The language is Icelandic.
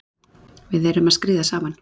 Við erum að skríða saman